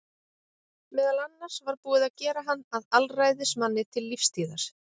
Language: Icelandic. Meðal annars var búið að gera hann að alræðismanni til lífstíðar.